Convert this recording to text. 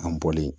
An bɔlen